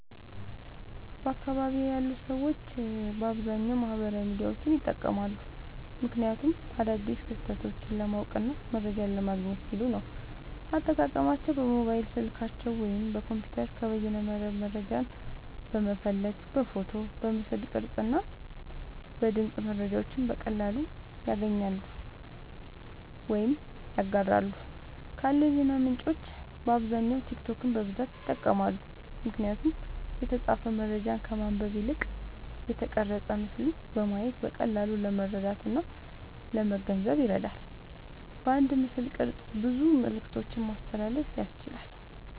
በአካባቢየ ያሉ ሰዎች በአብዛኛዉ ማህበራዊ ሚዲያዎችን ይጠቀማሉ። ምክንያቱም አዳዲስ ክስተቶችን ለማወቅና መረጃ ለማግኘት ሲሉ ነዉ። አጠቃቀማቸዉም በሞባይል ስልካቸዉ ወይም በኮምፒዉተር ከበይነመረብ መረጃን በመፈለግ በፎቶ፣ በምስል ቅርጽ እና በድምጽ መረጃዎችን በቀላሉ ያገኛሉ ወይም ያጋራሉ። ካሉ የዜና ምንጮች በአብዛኛዉ ቲክቶክን በብዛት ይጠቀማሉ። ምክንያቱም የተጻፈ መረጃን ከማንበብ ይልቅ የተቀረጸ ምስልን በማየት በቀላሉ ለመረዳትእና ለመገንዘብ ይረዳል። በአንድ ምስልቅርጽ ብዙ መልክቶችን ማስተላለፍ ያስችላል።